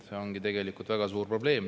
See ongi tegelikult väga suur probleem.